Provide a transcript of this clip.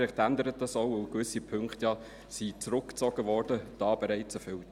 Vielleicht ändert sich das auch, weil gewisse Punkte ja zurückgezogen wurden, da bereits erfüllt.